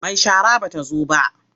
Mai shara ba ta zo ba.